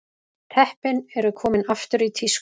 Teppin eru komin aftur í tísku